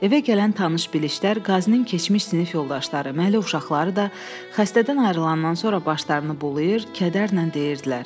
Evə gələn tanış-bilişlər, qazinin keçmiş sinif yoldaşları, məli uşaqları da xəstədən ayrılandan sonra başlarını bulayır, kədərlə deyirdilər: